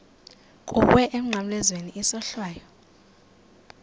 kuwe emnqamlezweni isohlwayo